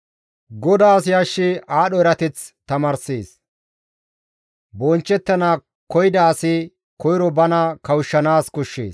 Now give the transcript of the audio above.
GODAAS yashshi aadho erateth tamaarssees; bonchchettana koyida asi koyro bana kawushshanaas koshshees.